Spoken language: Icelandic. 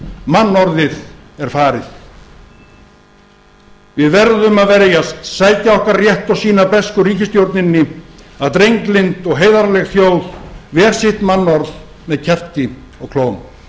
mannorðið er farið við verðum að verjast sækja okkar rétt og sýna bresku ríkisstjórninni að drenglynd og heiðarleg þjóð ver sitt mannorð með kjafti og klóm